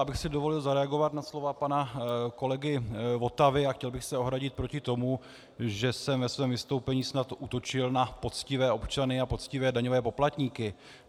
Já bych si dovolil zareagovat na slova pana kolegy Votavy a chtěl bych se ohradit proti tomu, že jsem ve svém vystoupení snad útočil na poctivé občany a poctivé daňové poplatníky.